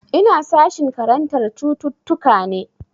Ina sashin karantar cututtuka ne.